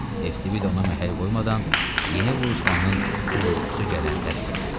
Eftib da ona məhəl qoymadan yeni vuruşmanın uğultusu gələn tərəfə getdi.